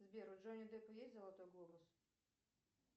сбер у джонни деппа есть золотой глобус